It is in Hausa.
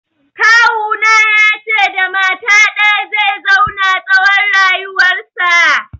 Kawuna ya ce da mata ɗaya zai zauna tsawon rayuwarsa